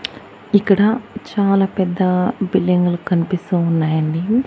ఇక్కడ చాలా పెద్ద బిల్డింగులు కనిపిస్తూ ఉన్నాయి అండి.